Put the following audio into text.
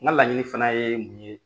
N ka laɲini fana ye mun ye.